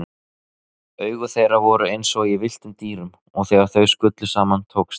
Augu þeirra voru einsog í villtum dýrum og þegar þau skullu saman tókst